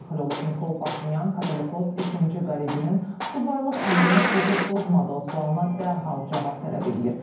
Nikol Paşinyan Katolikos ikinci Qareginin subaylıq andını pozub-pozmadığı sualına dərhal cavab tələb eləyir.